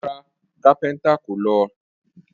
Rara, Kápéntà kò ló